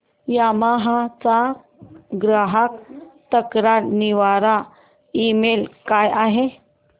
Yamaha चा ग्राहक तक्रार निवारण ईमेल काय आहे